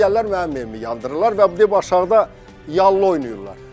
Sonra gəlirlər mənim evimi yandırırlar və dib aşağıda yallı oynayırlar.